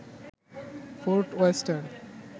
fort western